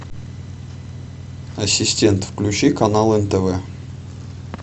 ассистент включи канал нтв